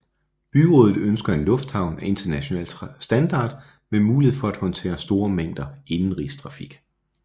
Byrådet ønsker en lufthavn af international standard med mulighed for at håndtere store mængder indenrigstrafik